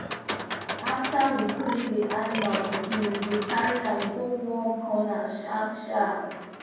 after we clean the animal pikin we dey carry am go warm corner sharp sharp